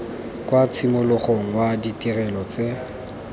kwa tshimologong wa ditirelo tse